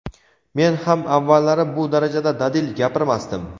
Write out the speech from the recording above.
Men ham avvallari bu darajada dadil gapirmasdim.